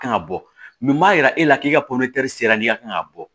Kan ka bɔ min b'a yira e la k'i ka sera n'i ka kan ka bɔ